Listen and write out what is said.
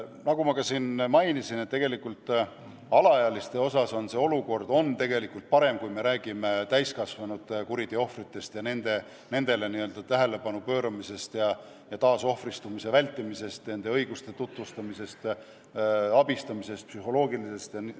Nagu ma siin mainisin, on alaealiste olukord tegelikult parem kui täiskasvanud kuriteoohvrite puhul, mis puudutab neile n-ö tähelepanu pööramist ja nende taasohvristumise vältimist, neile nende õiguste tutvustamist, nende abistamist, psühholoogilist nõustamist ja muud.